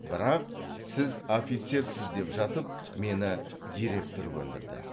бірақ сіз офицерсіз деп жатып мені директор көндірді